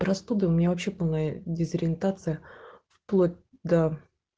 простуда у меня вообще была дезориентация вплоть до